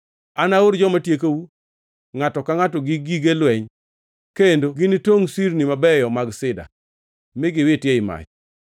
Anaor joma tiekou, ngʼato ka ngʼato gi gige lweny, kendo ginitongʼ sirniu mabeyo mag sida mi giwitgi ei mach.